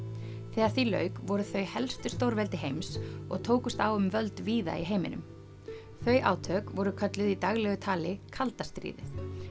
þegar því lauk voru þau helstu stórveldi heims og tókust á um völd víða í heiminum þau átök voru kölluð í daglegu tali kalda stríðið